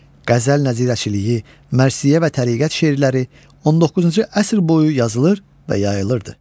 Qəzəl nəzirəçiliyi, mərsiyə və təriqət şeirləri 19-cu əsr boyu yazılır və yayılırdı.